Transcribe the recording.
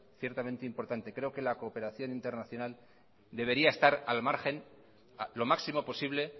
ciertamente importante creo que la cooperación internacional debería estar al margen lo máximo posible